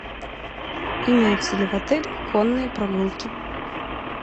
имеются ли в отеле конные прогулки